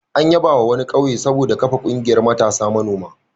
An yabawa wani ƙauye saboda kafa ƙungiyar matasa manoma.